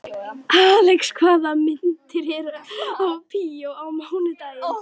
Alex, hvaða myndir eru í bíó á mánudaginn?